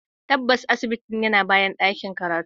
Tabbas, asibitin yana bayan ɗakin karatu.